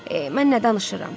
Mən nə danışıram?